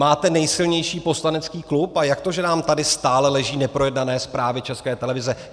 Máte nejsilnější poslanecký klub, a jak to, že nám tady stále leží neprojednané zprávy České televize?